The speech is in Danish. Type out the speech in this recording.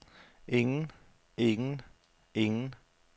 ingen ingen ingen